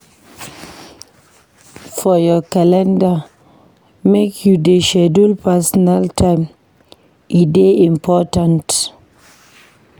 For your calender, make you dey schedule personal time, e dey important.